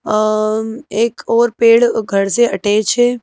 अ एक और पेड़ घर से अटैच है।